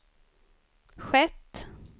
skett